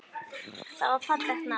Það er fallegt nafn.